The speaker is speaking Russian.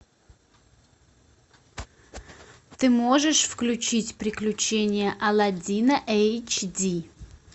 ты можешь включить приключения аладдина эйч ди